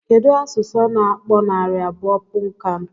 Kedụ asụsụ na-akpọ narị abụọ punnkan?